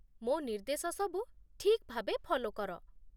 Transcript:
ମୋ ନିର୍ଦ୍ଦେଶ ସବୁ ଠିକ୍ ଭାବେ ଫଲୋ କର